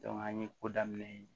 an ye ko daminɛ